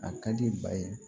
A ka di ba ye